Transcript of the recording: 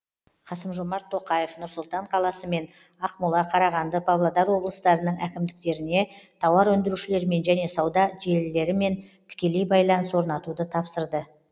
қасым жомарт тоқаев нұр сұлтан қаласы мен ақмола қарағанды павлодар облыстарының әкімдіктеріне тауар өндірушілермен және сауда желілерімен тікелей байланыс орнатуды тапсырды